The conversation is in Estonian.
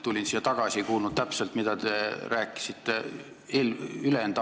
Tulin siia just tagasi ega kuulnud täpselt, mida te ülejäänud aja rääkisite.